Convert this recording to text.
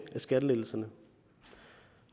af skattelettelserne